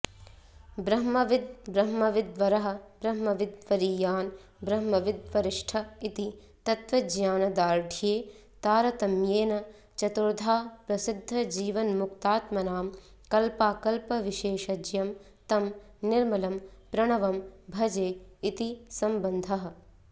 ब्रह्मविद्ब्रह्मविद्वरः ब्रह्मविद्वरीयान् ब्रह्मविद्वरिष्ठ इति तत्वज्ञानदार्ढ्ये तारतम्येन चतुर्द्धाप्रसिद्धजीवन्मुक्तात्मनां कल्पाकल्पविशेषज्ञं तं निर्मलं प्रणवं भजे इति सम्बन्धः